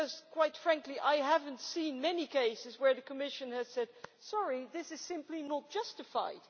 Quite frankly I have not seen many cases where the Commission has said sorry, this is simply not justified.